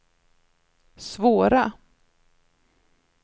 svåra